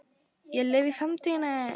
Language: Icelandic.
Ég lifi í framtíðinni.